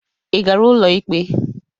Ị gara ụlọ ikpe?